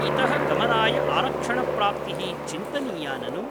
इतः गमनाय आरक्षणप्राप्तिः चिन्तनीया ननु ?